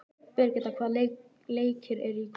Birgitta, hvaða leikir eru í kvöld?